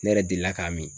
Ne yɛrɛ delila k'a min